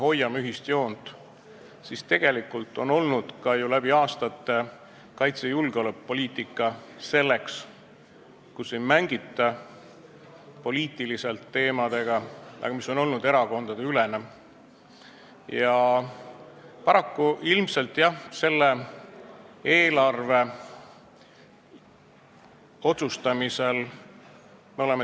Läbi aastate ongi kaitse- ja julgeolekupoliitikas hoitud seda joont, et poliitiliselt nende teemadega ei mängita, see on olnud erakondadeülene otsus.